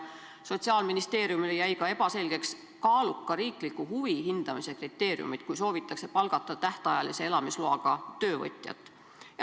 Sotsiaalministeeriumile jäid veel segaseks kaaluka riikliku huvi hindamise kriteeriumid, kui soovitakse palgata tähtajalise elamisloaga töövõtjat.